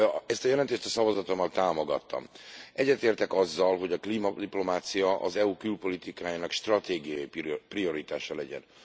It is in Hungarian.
Ezt a jelentést a szavazatommal támogattam. Egyetértek azzal, hogy a klímadiplomácia az EU külpolitikájának stratégiai prioritása legyen.